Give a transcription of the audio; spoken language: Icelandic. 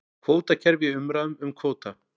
Kvótakerfi í umræðum um kvóta